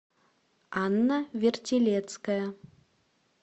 анна вертилецкая